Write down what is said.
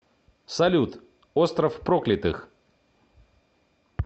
салют остров проклятых